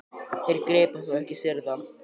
Þeir gripu hann þó ekki syðra?